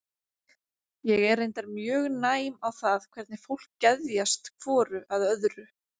Ég er reyndar mjög næm á það hvernig fólki geðjast hvoru að öðru.